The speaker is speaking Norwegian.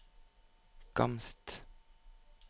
Gamst